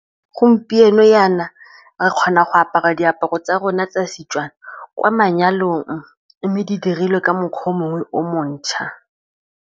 Gompieno jana re kgona go apara diaparo tsa rona tsa Setswana kwa manyalong, mme di dirilwe ka mokgwa mongwe o montšhwa.